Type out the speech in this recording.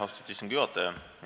Austatud istungi juhataja!